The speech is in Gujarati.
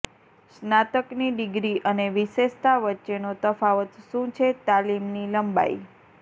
સ્નાતકની ડિગ્રી અને વિશેષતા વચ્ચેનો તફાવત શું છે તાલીમની લંબાઈ